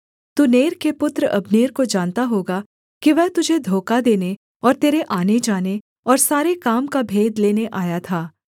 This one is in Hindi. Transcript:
तू नेर के पुत्र अब्नेर को जानता होगा कि वह तुझे धोखा देने और तेरे आनेजाने और सारे काम का भेद लेने आया था